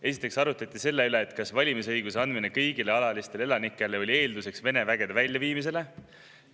Esiteks arutleti selle üle, kas valimisõiguse andmine kõigile alalistele elanikele oli Vene vägede väljaviimise eelduseks.